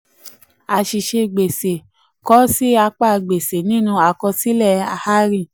àṣìṣe gbèsè: kọ ọ sí apá gbèsè nínú àkosílẹ hari.